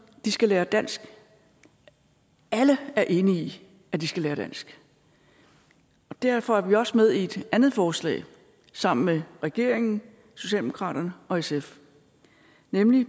de skal lære dansk alle er enige i at de skal lære dansk derfor er vi også med i et andet forslag sammen med regeringen socialdemokraterne og sf nemlig